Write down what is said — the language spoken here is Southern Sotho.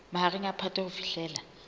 mahareng a phato ho fihlela